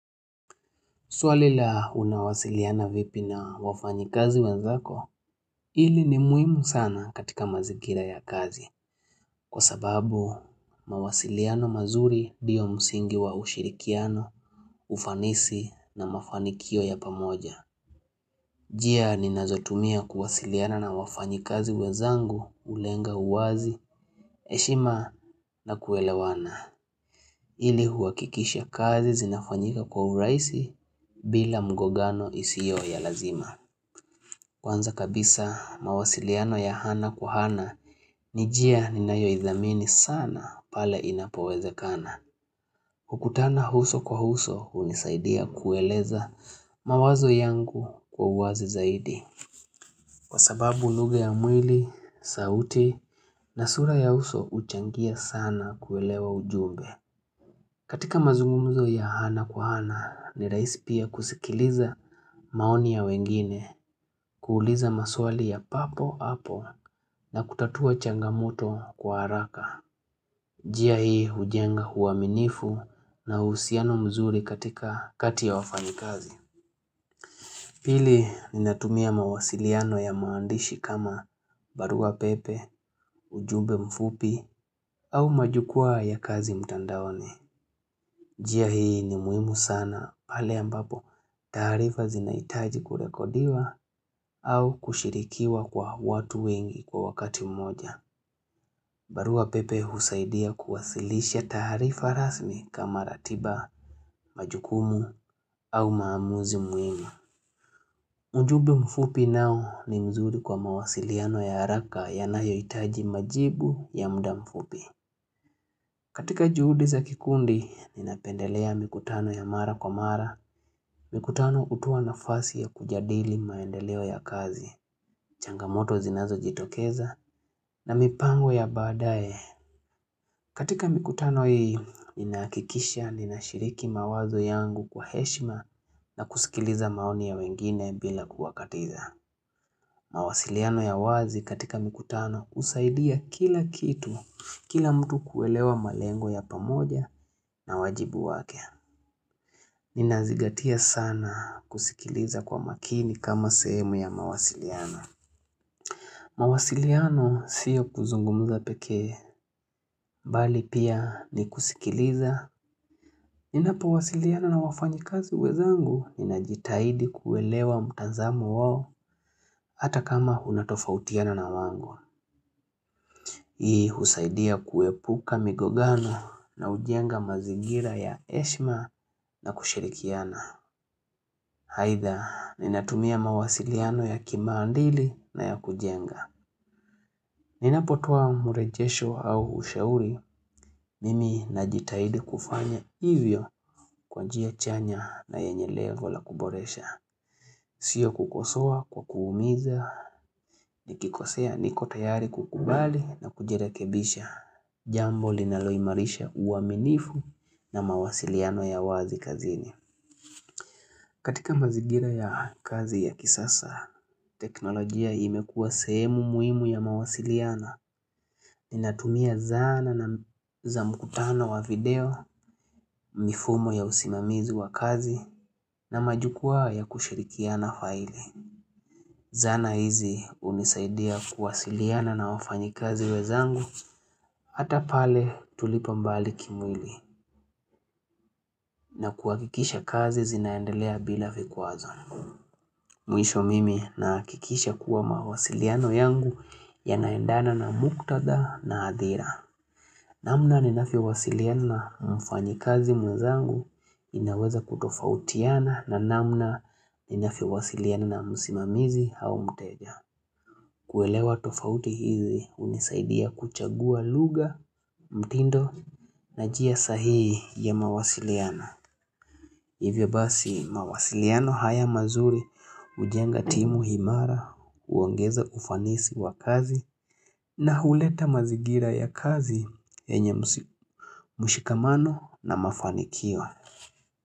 Swalila unawasiliana vipi na wafanyi kazi wenzako ili ni mhimu sana katika mazigira ya kazi kwa sababu mawasiliano mazuri ndiyo msingi wa ushirikiano, ufanisi na mafanikio ya pamoja. Jia ninazotumia kuwasiliana na wafanyi kazi wezangu ulenga uwazi, heshima na kuelewana ili huakikisha kazi zinafanyika kwa uraisi bila mgogano isio ya lazima. Kwanza kabisa mawasiliano ya hana kwa hana ni jia ni nayo idhamini sana pale inapoweze kana. Ukutana uso kwa uso unisaidia kueleza mawazo yangu kwa uwazi zaidi. Kwa sababu lugha ya mwili, sauti na sura ya uso uchangia sana kuelewa ujumbe. Katika mazungumuzo ya hana kwa hana ni raisi pia kusikiliza maoni ya wengine kuuliza maswali ya papo hapo na kutatua changamoto kwa haraka. Jia hii hujenga huaminifu na usiano mzuri katika kati ya wafanyakazi. Pili ni natumia mawasiliano ya maandishi kama barua pepe, ujumbe mfupi au majukua ya kazi mtandaoni. Jia hii ni muhimu sana pale ambapo tarifa zinaitaji kurekodiwa au kushirikiwa kwa watu wengi kwa wakati mmoja. Barua pepe husaidia kuwasilisha tarifa rasmi kama ratiba majukumu au maamuzi muhimu. Ujumbe mfupi nao ni mzuri kwa mawasiliano ya haraka yanayo itaji majibu ya muda mfupi. Katika juhudi za kikundi, ninapendelea mikutano ya mara kwa mara, mikutano hutoa nafasi ya kujadili maendeleo ya kazi, changamoto zinazo jitokeza, na mipango ya badae. Katika mikutano hii, ninakikisha, ninashiriki mawazo yangu kwa heshima na kusikiliza maoni ya wengine bila kuwakatiza. Mawasiliano ya wazi katika mikutano kusaidia kila kitu, kila mtu kuelewa malengo ya pamoja na wajibu wake. Ninazigatia sana kusikiliza kwa makini kama semehu ya mawasiliano. Mawasiliano siyo kuzungumuza peke, bali pia ni kusikiliza. Ninapo wasiliano na wafanyi kazi uwezangu, ninajitaidi kuelewa mutanzamo wao hata kama unatofautiana na wangu. Hii husaidia kuepuka migogano na ujenga mazigira ya heshima na kushirikiana Haitha, ninatumia mawasiliano ya kimandili na ya kujenga Ninapotua murejesho au ushauri, mimi najitahidi kufanya hivyo kwa njia chanya na yenye lengo la kuboresha Sio kukosea kwa kuumiza, nikikosea nikotayari kukubali na kujirekebisha Jambo linaloimarisha uaminifu na mawasiliano ya wazi kazini katika mazigira ya kazi ya kisasa teknolojia imekuwa sehemu muhimu ya mawasiliano Ninatumia zana na za mkutano wa video mifumo ya usimamizi wa kazi na majukua ya kushirikia na file Zana hizi unisaidia kuwasiliano na wafanyi kazi wezangu Hata pale tulipa mbali kimwili na kuhakikisha kazi zinaendelea bila vikwazo Mwisho mimi na kikisha kuwa mawasiliano yangu ya naendana na muktada na adhira namna ninafvyo wasiliano na mfanyi kazi mwazangu inaweza kutofautiana na namna ninafvyo wasiliano na musimamizi hao mtega kuelewa tofauti hizi unisaidia kuchagua lugha, mtindo na njia sahii ya mawasiliano Hivyo basi mawasiliano haya mazuri ujenga timu, Himara uangeza ufanisi wa kazi na huleta mazigira ya kazi yenye mushikamano na mafanikio.